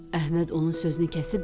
Əhməd onun sözünü kəsib dedi: